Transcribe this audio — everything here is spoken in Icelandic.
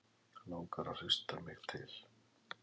Langar að hrista mig til.